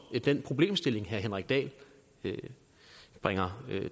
den problemstilling herre henrik dahl bringer